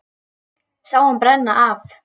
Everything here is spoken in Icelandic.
Sá hann brenna af.